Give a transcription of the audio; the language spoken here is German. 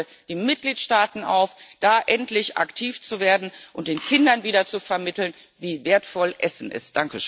Ich fordere die Mitgliedstaaten auf, da endlich aktiv zu werden und den Kindern wieder zu vermitteln, wie wertvoll Essen ist.